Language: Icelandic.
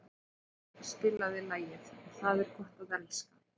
Gilmar, spilaðu lagið „Það er gott að elska“.